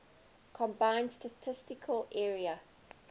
combined statistical area